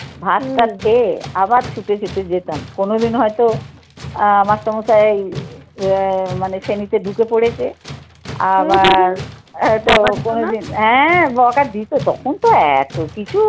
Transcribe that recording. ভাতটাত খেয়ে আবার ছুটে ছুটে যেতাম কোনোদিন হয়তো আহ মাস্টারমশাই আহ মানে শ্রেণীতে ঢুকে পড়েছে আবার এইতো কোনোদিন হ্যাঁ বকা দিত তখন তো এত কিছু